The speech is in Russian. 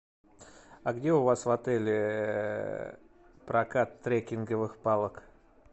а где у вас в отеле прокат трекинговых палок